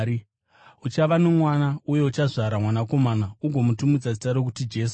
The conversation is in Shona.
Uchava nomwana uye uchazvara mwanakomana, ugomutumidza zita rokuti Jesu.